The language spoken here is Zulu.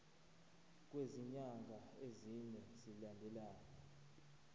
kwezinyanga ezine zilandelana